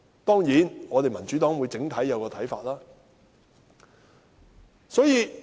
當然，民主黨整體會有一個看法。